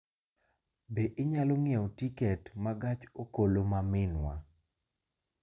Be inyalo ng'iewo tiket ma gach okoloma minwa